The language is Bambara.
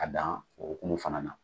K'a dan o hokumu fana na.